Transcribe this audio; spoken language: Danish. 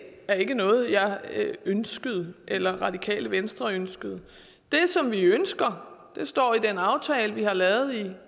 er ikke noget jeg ønskede eller radikale venstre ønskede det som vi ønsker står i den aftale vi har lavet i